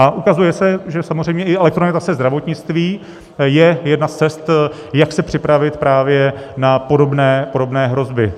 A ukazuje se, že samozřejmě i elektronizace zdravotnictví je jedna z cest, jak se připravit právě na podobné hrozby.